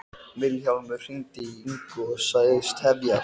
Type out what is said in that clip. Vilhjálmur hringdi í Ingu og sagðist tefjast.